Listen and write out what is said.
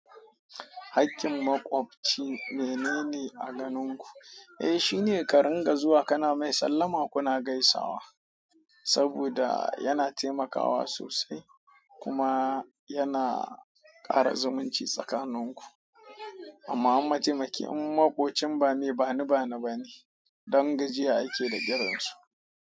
Hakin makwabci mainene a ganin ku. Eh, shine ka ringa zuwa kana mai sallama kuna gaisawa, saboda yana taimakawa sosai kuma yana ƙara zumunci tsakanin ku. Amma in mataimaki in makocin ba mai bani bani bane, ɗan gajiya ake da kirin su.